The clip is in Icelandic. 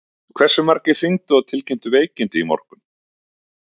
Hversu margir hringdu og tilkynntu veikindi í morgun?